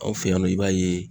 Anw fɛ yan nɔ, i b'a ye